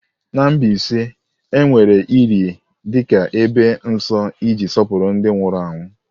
Na Mbaise, a na-ewere ili dị ka ebe nsọ iji sọpụrụ ndị nwụrụ anwụ.